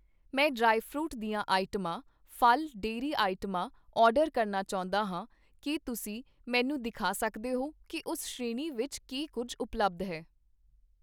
ਮੈਂ ਡਰਾਈਫਰੂਟ ਦੀਆਂ ਆਈਟਮਾਂ, ਫ਼ਲ, ਡੇਅਰੀ ਆਈਟਮਾਂ ਆਰਡਰ ਕਰਨਾ ਚਾਹੁੰਦਾ ਹਾਂ, ਕੀ ਤੁਸੀਂ ਮੈਨੂੰ ਦਿਖਾ ਸਕਦੇ ਹੋ ਕੀ ਉਸ ਸ਼੍ਰੇਣੀ ਵਿੱਚ ਕੀ ਕੁੱਝ ਉਪਲੱਬਧ ਹੈ?